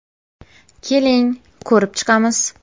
Keling, ko‘rib chiqamiz.